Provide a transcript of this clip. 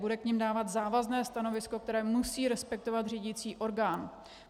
Budou k nim dávat závazné stanovisko, které musí respektovat řídicí orgán.